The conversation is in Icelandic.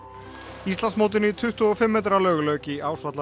Íslandsmótinu í tuttugu og fimm metra laug lauk í